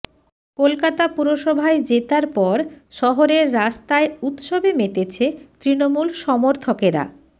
কলকাতা পুরসভায় জেতার পর শহরের রাস্তায় উৎসবে মেতেছে তৃণমূল সমর্থকেরা